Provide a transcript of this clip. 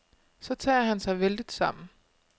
Så tager han sig vældigt sammen.